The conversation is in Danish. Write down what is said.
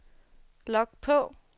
log på